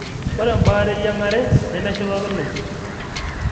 ore embaare eyiang'are nemeshipakinoi.